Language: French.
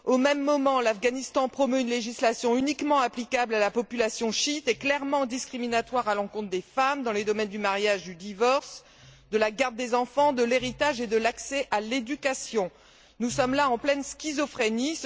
Au même moment, l'Afghanistan promeut une législation uniquement applicable à la population chiite, et clairement discriminatoire à l'encontre des femmes dans les domaines du mariage, du divorce, de la garde des enfants, de l'héritage et de l'accès à l'éducation. Nous sommes là en pleine schizophrénie.